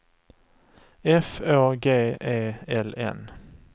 F Å G E L N